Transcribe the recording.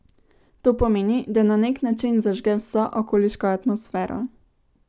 To pomeni, da na nek način zažge vso okoliško atmosfero.